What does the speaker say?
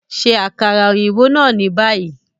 Ṣe akara oyinbo naa ni bayi!